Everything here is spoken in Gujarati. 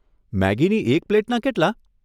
મેગીની એક પ્લેટના કેટલાં?